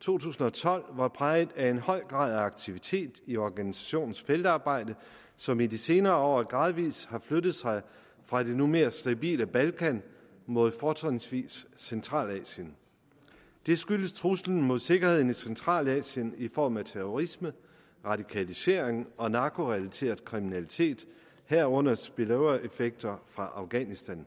to tusind og tolv var præget af en høj grad af aktivitet i organisationens feltarbejde som i de senere år gradvis har flyttet sig fra det nu mere stabile balkan mod fortrinsvis centralasien det skyldes truslen mod sikkerheden i centralasien i form af terrorisme radikalisering og narkorelateret kriminalitet herunder spill over effekter fra afghanistan